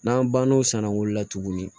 N'an banna o san wolola tuguni